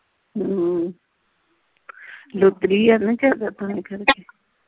ਹਮ ਲੁਤਰੀ ਆ ਕੇ